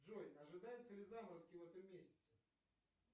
джой ожидаются ли заморозки в этом месяце